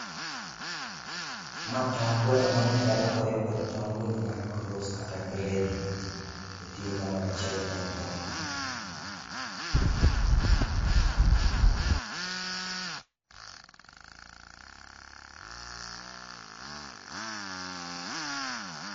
Ma tong gweno manyadala koriw gi tong gweno mar cross kata gredi. Oketgi kamoro aciel e ndoo